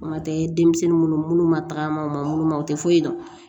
O kuma tɛ denmisɛnnin minnu ma tagama u ma munnu ma o tɛ foyi dɔn